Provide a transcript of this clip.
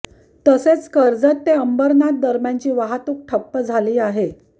तसेच कर्जत ते अंबरनाथ दरम्यानची वाहतूक ठप्प झाली आहे